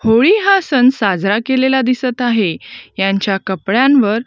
होळी हा सण साजरा केलेला दिसतं आहे. यांच्या कपड्यांवर--